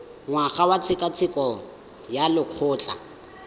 ngwaga wa tshekatsheko ya lokgetho